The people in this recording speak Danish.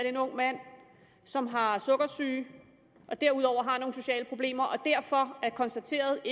en ung mand som har sukkersyge og derudover har nogle sociale problemer og derfor er konstateret